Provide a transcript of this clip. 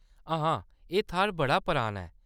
हां, एह्‌‌ थाह्‌‌‌र बड़ा पुराना ऐ।